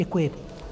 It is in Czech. Děkuji.